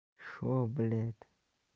что блять